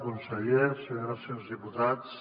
conseller senyores i senyors diputats